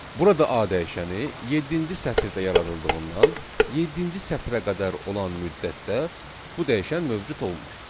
Burada A dəyişəni yeddinci sətirdə yaradıldığından, yeddinci sətrə qədər olan müddətdə bu dəyişən mövcud olmur.